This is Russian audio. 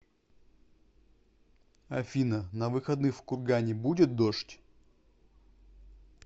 афина на выходных в кургане будет дождь